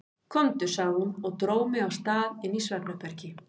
Komdu, sagði hún og dró mig af stað inn í svefnherbergi.